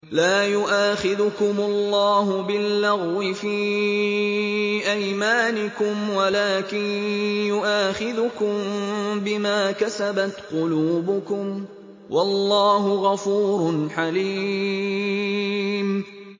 لَّا يُؤَاخِذُكُمُ اللَّهُ بِاللَّغْوِ فِي أَيْمَانِكُمْ وَلَٰكِن يُؤَاخِذُكُم بِمَا كَسَبَتْ قُلُوبُكُمْ ۗ وَاللَّهُ غَفُورٌ حَلِيمٌ